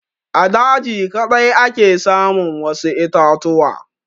A daji kaɗai ake samun wasu itatuwa.